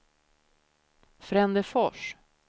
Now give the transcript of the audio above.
Frändefors